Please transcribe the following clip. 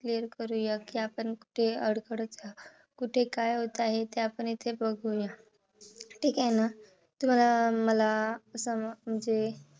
Cleare करूया कि आपण कुठे अडखळत आहोत. कुठे काय होत आहे ते आपण इथे बघूया. ठीक आहे ना? तुम्हाला मला असं म्हणजे